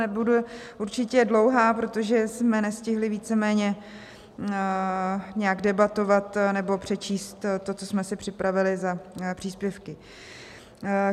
Nebudu určitě dlouhá, protože jsme nestihli víceméně nějak debatovat nebo přečíst to, co jsme si připravili za příspěvky.